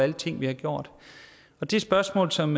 de ting vi har gjort det spørgsmål som